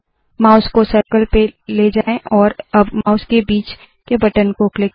mouse को circle पे ले जाए और अब माउस के बीच के बटन को क्लिक करे